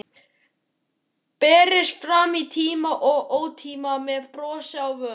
Berist fram í tíma og ótíma, með bros á vör.